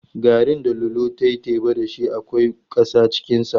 Garrin da Lolo ta yi teba da shi na da ƙasa cikinsa.